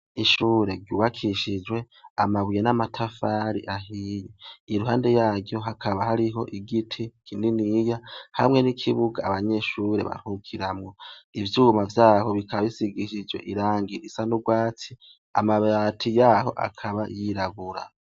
ishure cubakishijwe amabuye namatafari ahiye iruhande yaryo hakaba hariho igiti kininiya hamwe nikibuga abanyeshure baruhukiramwo ivyuma vyabo bikaba bisigishijwe irangi risa nurwatsi amabati yabo akaba yiraburabura.